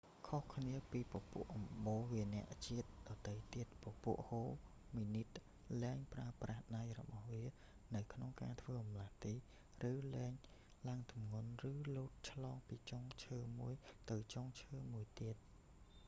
ខុសគ្នាពីពពួកអំបូរវានរជាតិដទៃទៀត ពពួកហូមីនីត លែងប្រើប្រាស់ដៃរបស់វានៅក្នុងការធ្វើបម្លាស់ទី ឬលែងឡើងទម្ងន់ ឬលោតឆ្លងពីចុងឈើមួយទៅចុងឈើមួយទៀត